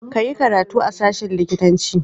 Ka yi karatu a sashen likitanci.